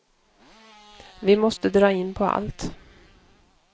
Vi måste dra in på allt.